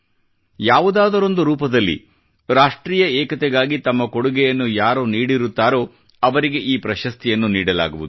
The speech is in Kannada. ಯಾವುದಾದರೊಂದು ರೂಪದಲ್ಲಿ ರಾಷ್ಟ್ರೀಯ ಏಕತೆಗಾಗಿ ತಮ್ಮ ಕೊಡುಗೆಯನ್ನು ಯಾರು ನೀಡಿರುತ್ತಾರೋ ಅವರಿಗೆ ಈ ಪ್ರಶಸ್ತಿಯನ್ನು ನೀಡಲಾಗುವುದು